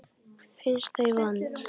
Finnst þau vond.